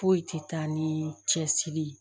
Foyi tɛ taa ni cɛsiri